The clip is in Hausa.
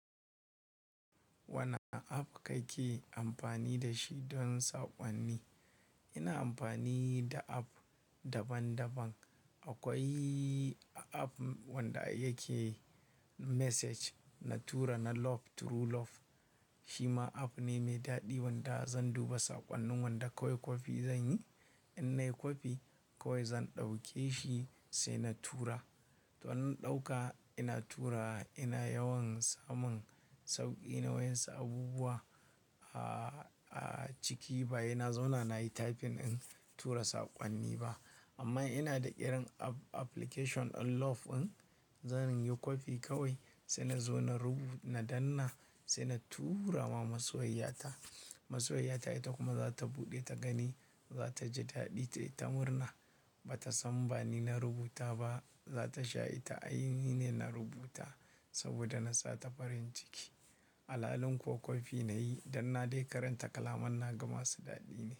Wane app kake amfani da shi don saƙonni? Ina amfani da app daban-daban. Akwai app wanda yake message na tura na Love True Love. Shi ma app ne mai daɗi wanda zan duba saƙonnin wanda kawai kwafi zanyi. In nayi kwafi kawai zan ɗauke shi sai na tura. To ina ɗauka ina tura ina yawan samun sauƙi. Akwai app wanda yake message na tura na Love True Love. Shi ma app ne mai daɗi wanda zan duba saƙonnin wanda kawai kwafi zanyi. Amma ina da irin app application ɗin love ɗin zan yin kwafi kawai sai na zo na rubuta danna sai na tura ma masoyyata. Masoyiyata ita kuma za ta buɗe ta gani za ta ji daɗi ita murna ba ta san ba ni na rubuta ba. Za ta sha ita ai ni ne na rubuta saboda na sa ta farin ciki. Alhalin kuwa kwafi nayi dannna dai karanta kalaman na gama su daɗi ne.